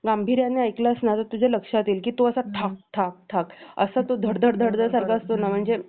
गांभीर्याने ऐकलास ना तर तुझ्या लक्षात येईल तो असा ठक ठक ठक असा तो असा धडधड धडधड सारखा असतो ना म्हणजे